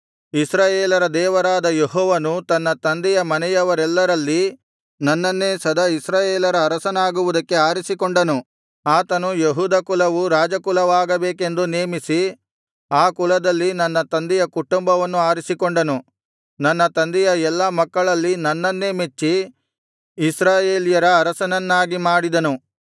ಇಸ್ರಾಯೇಲರ ದೇವರಾದ ಯೆಹೋವನು ತನ್ನ ತಂದೆಯ ಮನೆಯವರೆಲ್ಲರಲ್ಲಿ ನನ್ನನ್ನೇ ಸದಾ ಇಸ್ರಾಯೇಲರ ಅರಸನಾಗುವುದಕ್ಕೆ ಆರಿಸಿಕೊಂಡನು ಆತನು ಯೆಹೂದ ಕುಲವು ರಾಜಕುಲವಾಗಬೇಕೆಂದು ನೇಮಿಸಿ ಆ ಕುಲದಲ್ಲಿ ನನ್ನ ತಂದೆಯ ಕುಟುಂಬವನ್ನು ಆರಿಸಿಕೊಂಡನು ನನ್ನ ತಂದೆಯ ಎಲ್ಲಾ ಮಕ್ಕಳಲ್ಲಿ ನನ್ನನ್ನೇ ಮೆಚ್ಚಿ ಇಸ್ರಾಯೇಲ್ಯರ ಅರಸನನ್ನಾಗಿ ಮಾಡಿದನು